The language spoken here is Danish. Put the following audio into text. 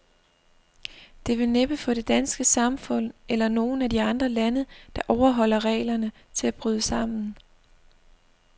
Det vil næppe få det danske samfund, eller nogen af de andre lande, der overholder reglerne, til at bryde sammen.